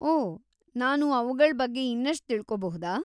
ಓಹ್, ನಾನು ಅವ್ಗಳ್ ಬಗ್ಗೆ ಇನ್ನಷ್ಟು ತಿಳ್ಕೋಬಹುದಾ?